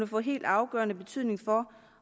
få helt afgørende betydning for